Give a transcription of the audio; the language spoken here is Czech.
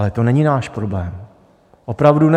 Ale to není náš problém, opravdu ne.